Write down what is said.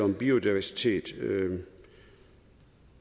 om biodiversitet men